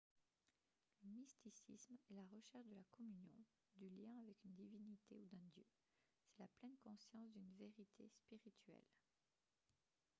le mysticisme est la recherche de la communion du lien avec une divinité ou d'un dieu c'est la pleine conscience d'une vérité spirituelle